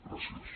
gràcies